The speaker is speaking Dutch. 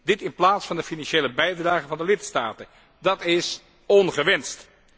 Dit in plaats van de financiële bijdragen van de lidstaten. Dat is ongewenst.